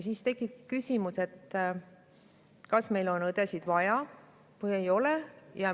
Siis tekib küsimus, kas meil õdesid on vaja või ei ole.